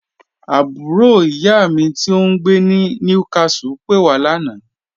Àbúrò iyá mi tí ò ǹgbé ní Newcastle pé wà lána.